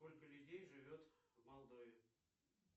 сколько людей живет в молдове